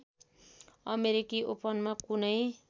अमेरिकी ओपनमा कुनै